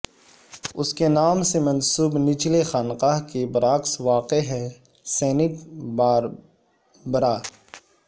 اس کے نام سے منسوب نچلے خانقاہ کے برعکس واقع ہے سینٹ باربرا